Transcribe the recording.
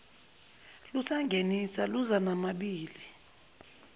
lusangenisa luza namabibi